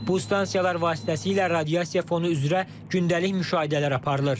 Bu stansiyalar vasitəsilə radiasiya fonu üzrə gündəlik müşahidələr aparılır.